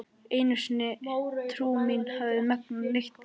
Ekki einu sinni trú mín hefur megnað neitt þvílíkt.